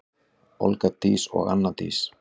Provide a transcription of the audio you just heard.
Olga Dís og Anna Dís.